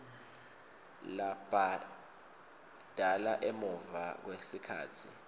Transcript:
labhadala emuva kwesikhatsi